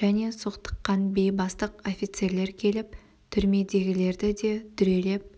және соқтыққан бейбастық офицерлер келіп түрмедегілерді де дүрелеп